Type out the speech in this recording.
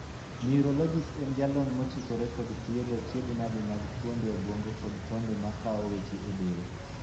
Neurologist' en jalony mochikore kod thiedho achiedhnade mag fuonde obuongo kod tonde ma kowo weche e del.